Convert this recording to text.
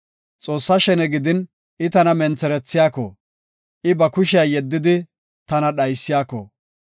Xoossaa shene gidin I tana mentherethiyako, I ba kushiya yeddidi tana dhaysiyako,